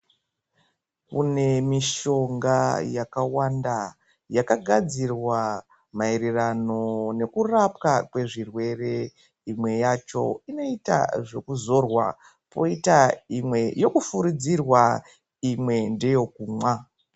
Kune mushonga yakawanda yakagadzirwa mairirano nekurapwa kwezvirwere imwe yacho inoita zvekuzorwa koita imwe yekufuridzirwa imwe ndeye kumwa.